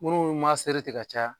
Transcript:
Minnu ma seri ten tigɛ ka caya